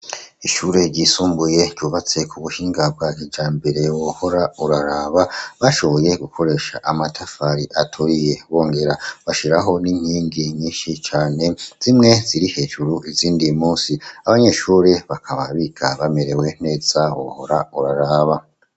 Ishure ryisumbuye ryubatse ku buhinga bwa kijambere wohora uraraba, bashoboye gukoresha amatafari aturiye bongera bashiraho n'inkingi nyinshi cane zimwe ziri hejuru izindi musi, abanyeshure bakaba biga bamerewe neza wohora uraraba.